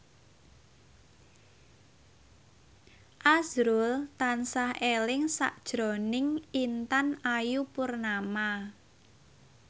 azrul tansah eling sakjroning Intan Ayu Purnama